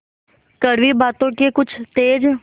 कड़वी बातों के कुछ तेज